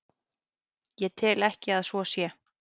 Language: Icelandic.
Ég tel ekki að svo sé.